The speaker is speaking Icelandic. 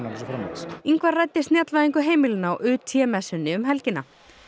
og svo framvegis Ingvar ræddi heimilana á messunni um helgina